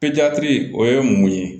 o ye mun ye